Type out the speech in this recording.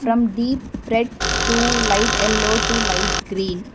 from deep red too light yellow to light green.